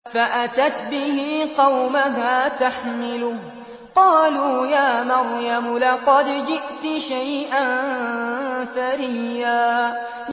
فَأَتَتْ بِهِ قَوْمَهَا تَحْمِلُهُ ۖ قَالُوا يَا مَرْيَمُ لَقَدْ جِئْتِ شَيْئًا فَرِيًّا